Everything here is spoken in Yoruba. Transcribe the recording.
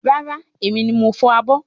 Rárá, èmi ni mo ń fọ̀ abọ́